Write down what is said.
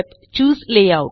चूसे layout